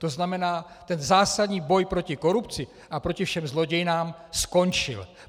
To znamená, ten zásadní boj proti korupci a proti všem zlodějnám skončil!